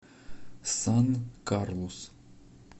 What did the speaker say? сан карлус